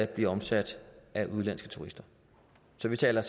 bliver omsat af udenlandske turister så vi taler